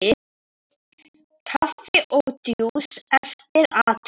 Kaffi og djús eftir athöfn.